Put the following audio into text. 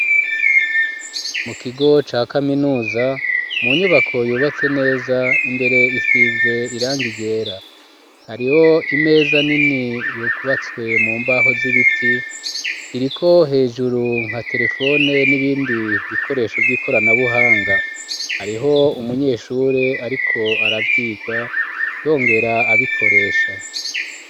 Mu kigo ca kaminuza mu nyubako yubatse neza imbere isize irangi ryera, hariho imeza nini yo yubatswe mu mbaho z'ibiti iriko hejuru nka terefone n'ibindi bikoresho vy'ikoranabuhanga hariho umunyeshure ariko aravyiga yongera abikoresha.